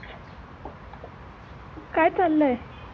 काय चाललयं?